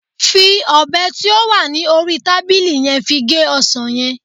fi obe ti o wa ni ori tabili yen fi ge osan yen